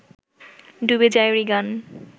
ডুবে যায় রিগান